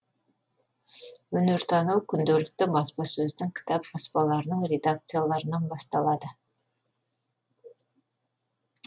өнер тану күнделікті баспасөздің кітап баспаларының редакцияларынан басталады